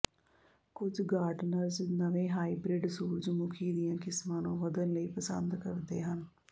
ਕੁਝ ਗਾਰਡਨਰਜ਼ ਨਵੇਂ ਹਾਈਬ੍ਰਿਡ ਸੂਰਜਮੁਖੀ ਦੀਆਂ ਕਿਸਮਾਂ ਨੂੰ ਵਧਣ ਲਈ ਪਸੰਦ ਕਰਦੇ ਹਨ